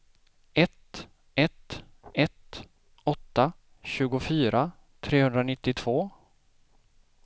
ett ett ett åtta tjugofyra trehundranittiotvå